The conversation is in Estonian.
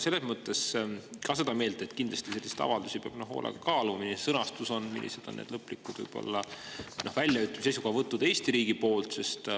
Ma olen ka seda meelt, et kindlasti selliseid avaldusi peab hoolega kaaluma: milline on sõnastus, millised on lõplikud väljaütlemised, seisukohavõtud Eesti riigi poolt.